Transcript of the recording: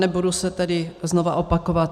Nebudu se tedy znova opakovat.